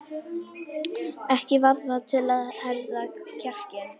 Ekki varð það til þess að herða kjarkinn.